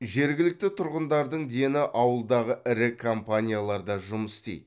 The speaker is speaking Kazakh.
жергілікті тұрғындардың дені ауылдағы ірі компанияларда жұмыс істейді